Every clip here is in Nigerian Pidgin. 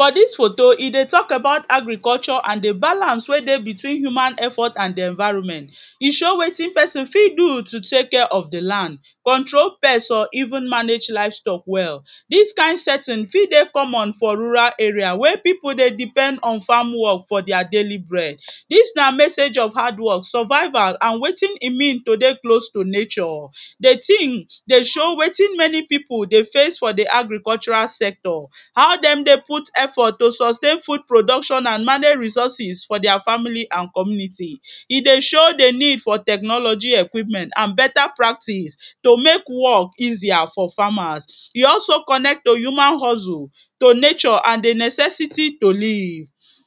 For dis photo dey e dey talk about agriculture and di balance wey dey between human effort and di environment e show wetin pesin fit do to take care of di land, control pest or even manage livestock well, dis kind setting fit dey common for rural area wey pipu dey depend on farm work for dia daily bread. Dis na message of hard work, survival and wetin e mean to dey close to nature, di tin dey show wetin many pipu dey face for di agricultural sector how dem dey put effort to sustain food production and manage resources for dia family and community. E dey show di need for technology equipment and better practice to make work easier for farmers, e also connect to human hustle to nature and di necessity to live,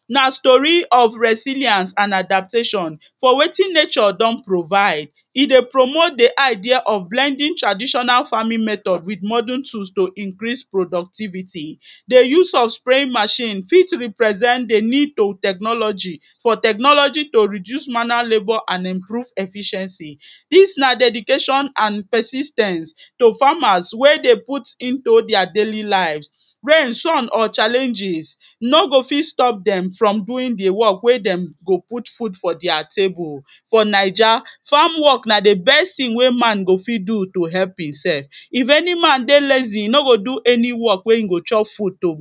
na story of resiliance and adaptation for wetin nature don provide, e dey promote di idea of blending traditional farming method with modern tool to increase productivity. Di use of spraying machine fit represent di need to technology for technology to reduce manner labour and improve efficiency, dis na dedication and persis ten ce to farmers wey dey put into dia daily life, rain, sun or challenges no go fit stop dem from doing di work wey dem go put food for dia table. For Naija, farm work na di best tin wey man go fit do to help himself, if any man dey lazy e no go do any work wey im go chop food to.